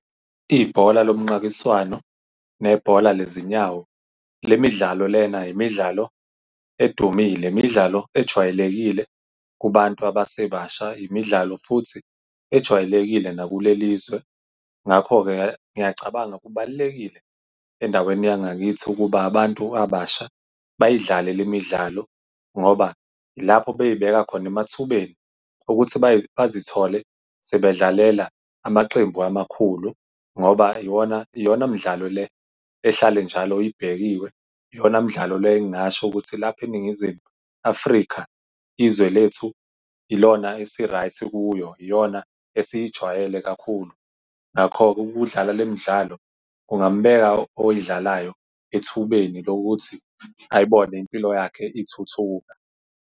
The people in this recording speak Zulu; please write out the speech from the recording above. Ibhola lomnqakiswano nebhola lezinyawo, le midlalo lena imidlalo edumile, imidlalo ejwayelekile kubantu abasebasha imidlalo futhi ejwayelekile naku le lizwe. Ngakho-ke ngiyacabanga kubalulekile endaweni yangakithi ukuba abantu abasha bayidlale le midlalo. Ngoba lapho beyibeka khona emathubeni wokuthi bazithole sebedlalela amaqembu amakhulu, ngoba lona mdlalo le, ehlale njalo ibhekiwe, iyona mdlalo le engingasho ukuthi lapho iNingizimu Afrika, izwe lethu ilona esi-right kuyo, iyona esiyijwayele kakhulu. Ngakho-ke ukudlala le midlalo kungambeka oyidlalayo ethubeni lokuthi ayibone impilo yakhe ithuthuka.